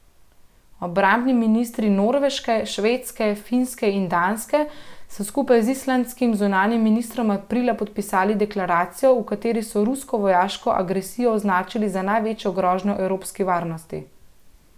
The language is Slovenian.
Obrambni ministri Norveške, Švedske, Finske in Danske so skupaj z islandskim zunanjim ministrom aprila podpisali deklaracijo, v kateri so rusko vojaško agresijo označili za največjo grožnjo evropski varnosti.